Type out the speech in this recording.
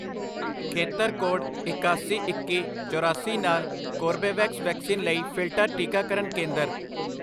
ਖੇਤਰ ਕੋਡ ਇਕਾਸੀ, ਇੱਕੀ, ਚੌਰਾਸੀ ਨਾਲ ਕੋਰਬੇਵੈਕਸ ਵੈਕਸੀਨ ਲਈ ਫਿਲਟਰ ਟੀਕਾਕਰਨ ਕੇਂਦਰ